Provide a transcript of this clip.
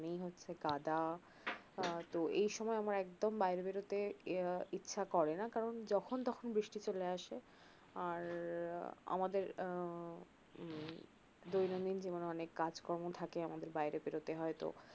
মানে কাঁদা এই সময় আমার একদম বাইরে বেরতে আহ ইচ্ছা করে না কারণ যখন তখন বৃষ্টি চলে আসে আর আমাদের আহ উম দৈনন্দিন জীবনে অনেক কাজ কর্ম থাকে আমাদের বাইরে বেরতে হয় তো